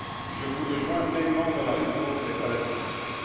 Je vous rejoins pleinement dans la lutte contre les paradis fiscaux.